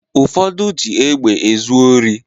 Ụfọdụ ji egbe ezu ori